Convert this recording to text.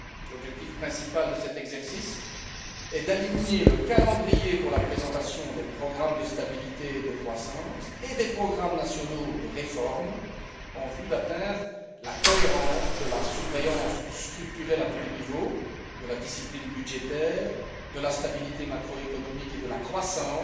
L'objectif principal de cet exercice est d'aligner le calendrier pour la présentation des programmes de stabilité et de croissance et des programmes nationaux de réforme en vue d'atteindre la cohérence de la surveillance structurelle à tous les niveaux de la discipline budgétaire, de la stabilité macroéconomique et de la croissance,